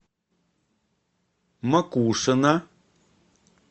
макушино